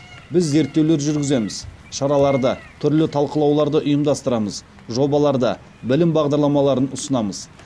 біз зерттеулер жүргіземіз шараларды түрлі талқылауларды ұйымдастырамыз жобаларды білім бағдарламаларын ұсынамыз